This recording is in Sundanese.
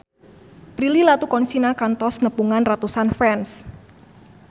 Prilly Latuconsina kantos nepungan ratusan fans